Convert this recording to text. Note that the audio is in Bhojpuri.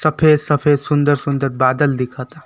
सफेद सफेद सुंदर सुंदर बादल दिख ता।